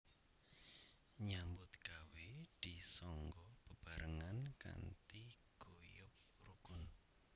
Nyambut gawé disangga bebaarengan kanthi guyub rukun